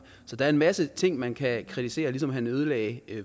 så der er en masse ting man kan kritisere ligesom han ødelagde